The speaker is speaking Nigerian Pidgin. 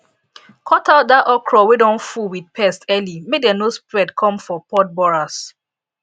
cut out dat okra wey don full with pest early make dem no spread come foh pod borers